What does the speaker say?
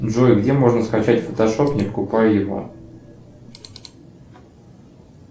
джой где можно скачать фотошоп не покупая его